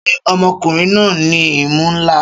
Ṣé ọmọkùnrin náà ní imú ńlá?